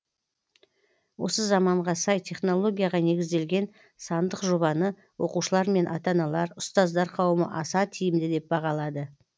осы заманға сай технологияға негізделген сандық жобаны оқушылар мен ата аналар ұстаздар қауымы аса тиімді деп бағалады